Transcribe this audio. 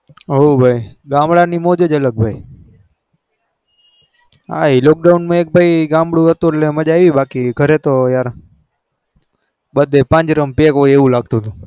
હઓ ભાઈ ગામડાની મજા જ અલગ હોય આ એક lockdown મજા આવી બાકી પાંજરામાં પેક હોય એવું લગ તું તું એવું લાગતું તું